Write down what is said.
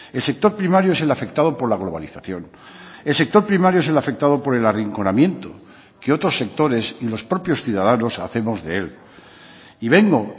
el sector primario es el afectado por la globalización el sector primario es el afectado por el arrinconamiento que otros sectores y los propios ciudadanos hacemos de él y vengo